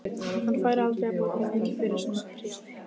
Hann færi aldrei að borga mikið fyrir svona prjál.